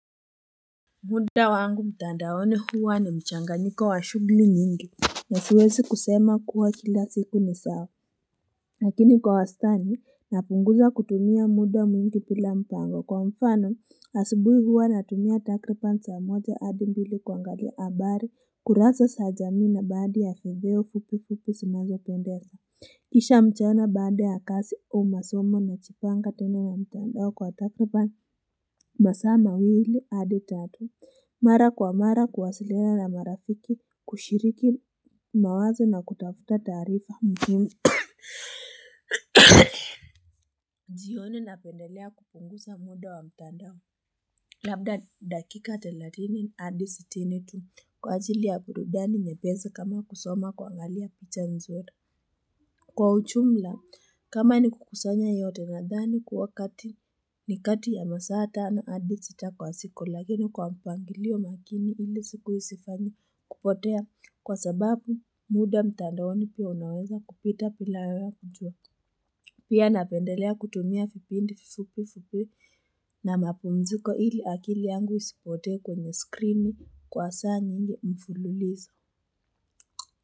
Muda wangu mtandaoni huwa ni mchanganyiko wa shughuli nyingi na siwezi kusema kuwa kila siku ni sawa lakini kwa wastani napunguza kutumia muda mwingi bila mpango kwa mfano asubuhi huwa natumia takriban saa moja hadi mbili kuangalia habari kurasa za jamii na badhi ya video fupi fupi zinazo pendeza kisha mchana baada ya kazi au masomo najipanga tena na mtandao kwa takriban masaa mawili hadi tatu. Mara kwa mara kuwasiliana na marafiki kushiriki mawazo na kutafuta tarifa. Jioni napendelea kupunguza muda wa mtandao. Labda dakika thelathini hadi sitinitu. Kwa ajili ya burudani yepesi kama kusoma kuangalia picha nzuri Kwa ujumla, kama ni kukusanya yote nadhani kuwa ni kati ya masaa tano hadi sita kwa siku lakini kwa mpangilio makini ili siku isifanye kupotea kwa sababu muda mtandaoni pia unaweza kupita bila wewe kujua. Pia napendelea kutumia vipindi vifupi fuipi na mapumziko ili akili yangu isipotee kwenye skrini kwa saa nyingi mfululizo.